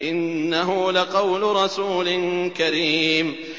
إِنَّهُ لَقَوْلُ رَسُولٍ كَرِيمٍ